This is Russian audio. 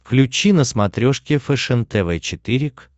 включи на смотрешке фэшен тв четыре к